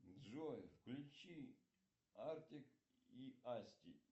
джой включи артик и асти